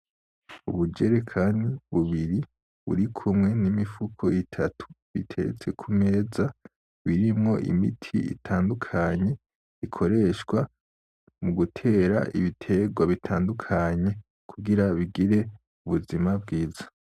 Ubujerekani bubiri buri kumwe n'imifuko itatu iteretse kumeza birimwo imiti itandukanye, ikoreshwa mu gutera ibiterwa bitandukanye kugira bigire ubuzima bwiza.